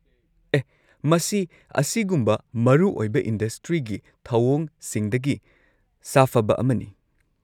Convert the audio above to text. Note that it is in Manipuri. ꯑꯦꯍ! ꯃꯁꯤ ꯑꯁꯤꯒꯨꯝꯕ ꯃꯔꯨꯑꯣꯏꯕ ꯏꯟꯗꯁꯇ꯭ꯔꯤꯒꯤ ꯊꯧꯑꯣꯡꯁꯤꯡꯗꯒꯤ ꯁꯥꯐꯕ ꯑꯃꯅꯤ꯫